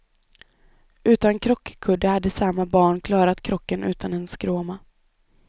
Utan krockkudde hade samma barn klarat krocken utan en skråma.